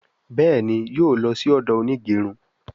Béèni yóò ló sì odo Onigerun.